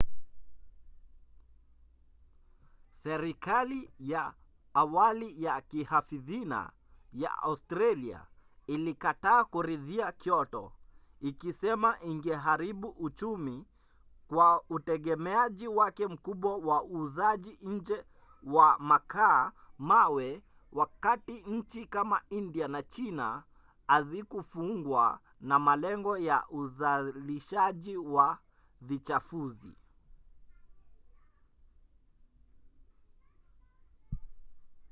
serikali ya awali ya kihafidhina ya australia ilikataa kuridhia kyoto ikisema ingeharibu uchumi kwa utegemeaji wake mkubwa wa uuzaji nje wa makaa-mawe wakati nchi kama india na china hazikufungwa na malengo ya uzalishaji wa vichafuzi